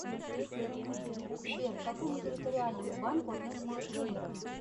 сбер к какому территориальному банку относится кемерово